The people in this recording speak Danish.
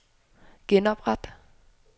genopret